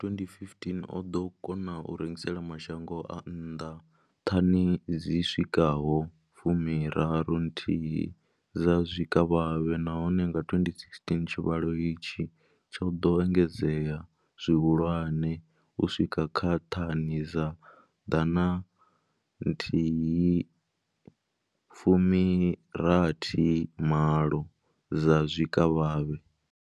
Nga 2015, o ḓo kona u rengisela mashango a nnḓa thani dzi swikaho fumi raru nthihi dza zwikavhavhe, nahone nga 2016 tshivhalo itshi tsho ḓo engedzea zwihulwane u swika kha thani dza ḓana nthihi fumi rathi malo dza zwikavhavhe.